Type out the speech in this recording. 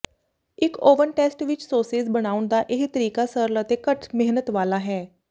ਇੱਕ oven test ਵਿੱਚ sausages ਬਣਾਉਣ ਦਾ ਇਹ ਤਰੀਕਾ ਸਰਲ ਅਤੇ ਘੱਟ ਮਿਹਨਤ ਵਾਲਾ ਹੈ